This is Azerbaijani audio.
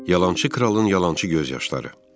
Yalançı kralın yalançı göz yaşları.